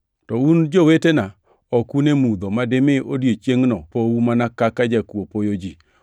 To un, jowetena, ok un e mudho ma dimi odiechiengʼno pou mana kaka jakuo poyo ji.